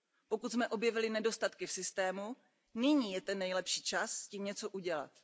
Pokud jsme objevili nedostatky v systému, nyní je ten nejlepší čas s tím něco udělat.